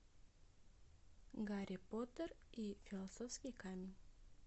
гарри поттер и философский камень